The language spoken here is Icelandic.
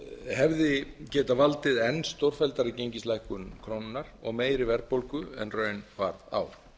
hefði getað valdið enn stórfelldari gengislækkun krónunnar og meiri verðbólgu en raun varð á